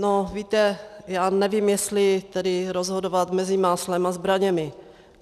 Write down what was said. No, víte, já nevím, jestli tedy rozhodovat mezi máslem a zbraněmi.